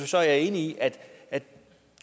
så er jeg enig i at vi